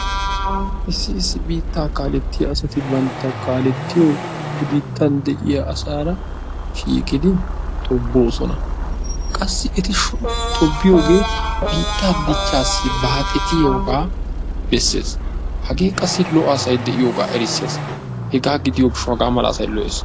Issi issi biita kaalettiya asati bantta kaalettiyo he biittan de'iyo asaara shiiqidi tobbosona. Qassi eti tobbiyoge biittaa dichchaassi baaxetiyoga beeses. Hagee qassi lo''o asay de'iyogaa erissees. Hegaa gidiyo gishshawu haga mala asay lo''ees.